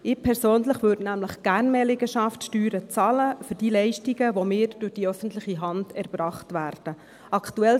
Ich persönlich würde nämlich für die Leistungen, die mir von der öffentlichen Hand erbracht werden, gerne mehr Liegenschaftssteuern zahlen.